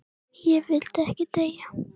Ég vildi ekki deyja.